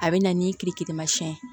A bɛ na ni tilekimansi ye